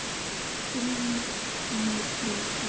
Stund milli stríða.